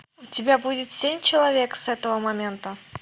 у тебя будет семь человек с этого момента